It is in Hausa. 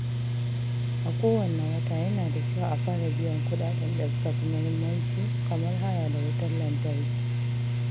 A kowane wata, yana da kyau a fara biyan kuɗaɗen da suka fi muhimmanci kamar haya da wutar lantarki.